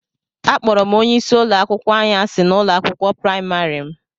Akpọrọ m onye isi ụlọ akwụkwọ anyị asị na ụlọ akwụkwọ praịmarị m